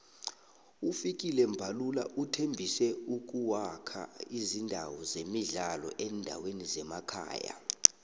ufikile mbalula uthembise ukuwakha izindawo zemidlalo eendaweni zemakhaya